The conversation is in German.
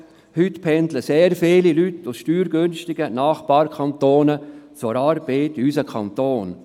Heute pendeln sehr viele Leute aus steuergünstigen Nachbarkantonen zur Arbeit in unseren Kanton.